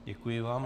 Děkuji vám.